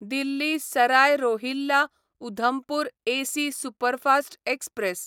Delhi Sarai Rohilla Udhampur AC superfast express